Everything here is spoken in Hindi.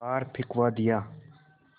बाहर फिंकवा दिया